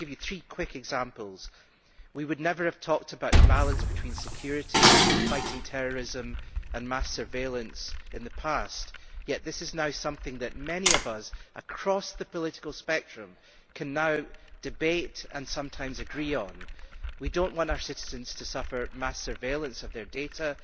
Let me give you three quick examples. We would never have talked about the balance between security, fighting terrorism and mass surveillance in the past, yet this is now something that many of us across the political spectrum can debate and sometimes agree on. We do not want our citizens to suffer mass surveillance of their data